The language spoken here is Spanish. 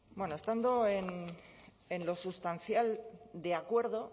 bueno estando en lo sustancial de acuerdo